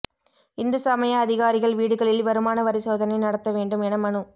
இந்து சமய அதிகாரிகள் வீடுகளில் வருமான வரி சோதனை நடத்த வேண்டும் என மனு